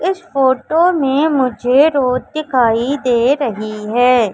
इस फोटो में मुझे रोड दिखाई दे रही है।